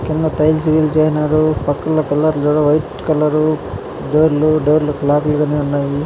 కింద టైల్స్ గిల్స్ ఎయినారు కలర్ లు చూడు వైట్ కలర్ డోర్లు డోర్లకు లాక్ ఉన్నాయ్ .